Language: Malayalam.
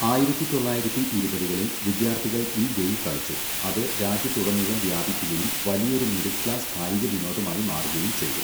ആയിരത്തി തൊള്ളായിരത്തി ഇരുപതുകളിൽ വിദ്യാർത്ഥികൾ ഈ ഗെയിം കളിച്ചു, അത് രാജ്യത്തുടനീളം വ്യാപിക്കുകയും വലിയൊരു മിഡിൽ ക്ലാസ് കായിക വിനോദമായി മാറുകയും ചെയ്തു.